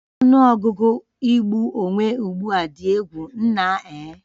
Ọnụ ọgụgụ igbu onwe ugbu a dị egwu, nna eh